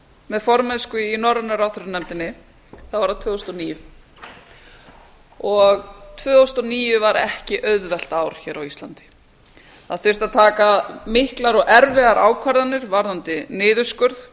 með formennsku í norrænu ráðherranefndinni var það tvö þúsund og níu og tvö þúsund og níu var ekki auðvelt ár hér á íslandi það þurfti að taka miklar og erfiðar ákvarðanir varðandi niðurskurð